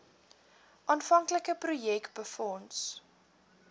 aanvanklike projek befonds